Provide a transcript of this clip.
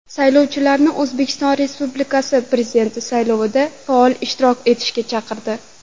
Saylovchilarni O‘zbekiston Respublikasi Prezidenti saylovida faol ishtirok etishga chaqirdi.